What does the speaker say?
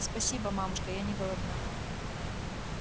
спасибо мамушка я не голодна